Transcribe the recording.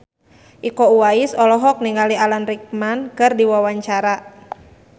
Iko Uwais olohok ningali Alan Rickman keur diwawancara